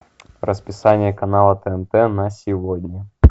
расписание канала тнт на сегодня